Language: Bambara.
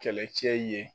Kɛlɛcɛ ye